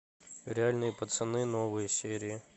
реальные пацаны новые серии